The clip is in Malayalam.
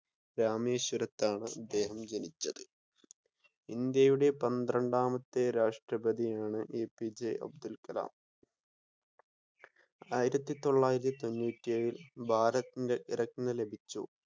രാമേശ്വരത്താണ് അദ്ദേഹം ജനിച്ചത്. ഇന്ത്യയുടെ പന്ത്രണ്ടാമത്തെ രാഷ്ട്രപ്രതിയാണ് എപിജെ അബ്ദുൽ കലാം. ആയിരത്തി തൊള്ളായിരത്തി തൊണ്ണൂറ്റി ഏഴിൽ ഭാരത് രത്ന ലഭിച്ചു.